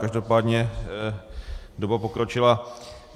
Každopádně doba pokročila.